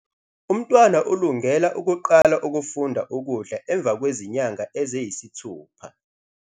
Umntwana ulungela ukuqala ukufunda ukudla emva kwezinyanga eziyisithupha.